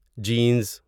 jeans